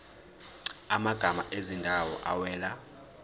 amagama ezindawo awela